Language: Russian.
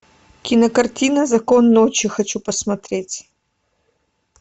кинокартина закон ночи хочу посмотреть